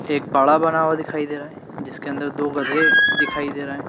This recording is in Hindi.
एक बाड़ा बना हुआ दिखाई दे रहा है जिसके अन्दर दो गधे दिखाई दे रहे है।